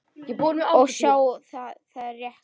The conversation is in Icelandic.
Og sjá, það er rétt.